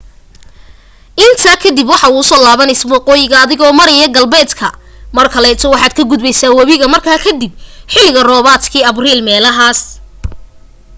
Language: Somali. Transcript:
intaa kadib waxaa usoo laabneysa waqooyiga adigo maryaa galbeed mar kaleeto waxaad ka gudbeysa wabiga mara kadib xili roobadka abriil meelahas